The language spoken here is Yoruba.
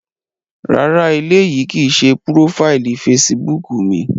Rárá, éleyi kii ṣe profaili Fèsìbúukù mi.